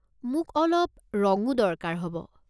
মোক অলপ ৰঙো দৰকাৰ হ'ব।